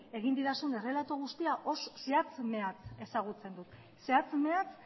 egin didazun errelato guztia zehatz mehatz ezagutzen dut zehatz mehatz